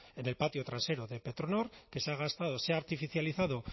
bueno en el patio trasero de petronor que se ha gastado se artificializado